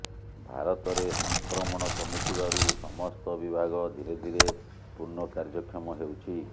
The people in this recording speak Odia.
ଭାରତରେ ସଂକ୍ରମଣ କମିଥିବାରୁ ସମସ୍ତ ବିଭାଗ ଧିରେଧିରେ ପୂର୍ଣ୍ଣ କାର୍ଯ୍ୟକ୍ଷମ ହେଉଛି